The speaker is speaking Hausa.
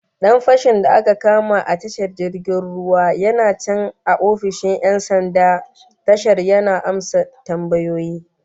Dan fashin da aka kama a tashar jirgin ruwan yana can a ofishin 'yan sanda tashar yana amsa tambayoyi